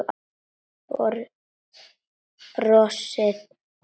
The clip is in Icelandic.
Brosið hvarf.